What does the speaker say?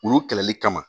Olu kɛlɛli kama